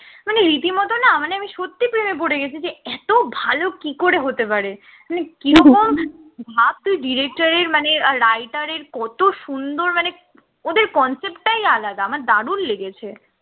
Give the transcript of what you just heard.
মানে রীতিমত না মানে আমি সত্যিই প্রেমে পড়ে গেছি যে এত ভালো কি করে হতে পারে মানে কি রকম ভাব তুই director এর মানে আর writer এর কত সুন্দর মানে ওদের concept টাই আলাদা আমার দারুণ লেগেছে